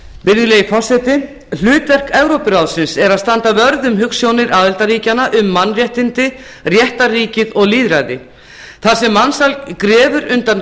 virðulegi forseti hlutverk evrópuráðsins er að standa vörð um hugsjónir aðildarríkjanna um mannréttindi réttarríkið og lýðræði þar sem mansal grefur undan